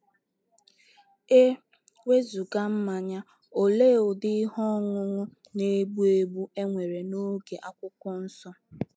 E wezụga mmanya, olee ụdị ihe ọṅụṅụ na - egbu egbu e nwere n’oge akwụkwọ nsọ?